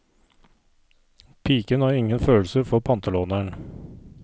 Piken har ingen følelser for pantelåneren.